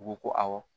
U ko ko awɔ